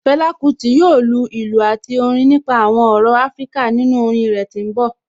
Fela Kuti yoo lu ilu ati Orin nipa awọn ọrọ Afirika ninu orin rẹ ti n bọ